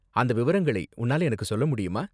அந்த விவரங்களை உன்னால எனக்கு சொல்ல முடியுமா?